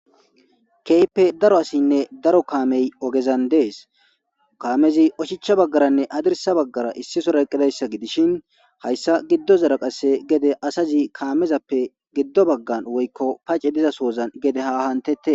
keype daro asinne daro kaamey ogezan dees kaamezi ochicha baggaranne adirsa baggara issisora eqqidayssa gidishin hayssa giddo zara qasse gede asazi kaamezappe giddo baggan woykko pace dizasoozan gede ha hantette